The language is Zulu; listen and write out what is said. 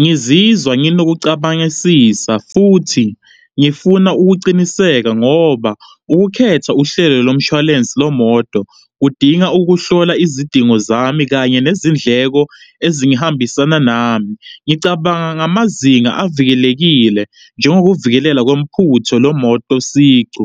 Ngizizwa nginokucabangisisa futhi ngifuna ukuqiniseka ngoba ukukhetha uhlelo lomshwalense lwemoto kudinga ukuhlola izidingo zami kanye nezindleko ezihambisana nami. Ngicabanga ngamazinga avikelekile, njengokuvikelela komphutho lemoto sicu.